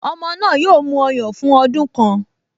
Ọmọ náà yóò mu ọyàn fún ọdún kan